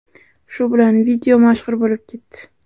Shu bilan video mashhur bo‘lib ketdi.